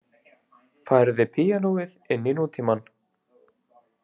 Færði píanóið inn í nútímann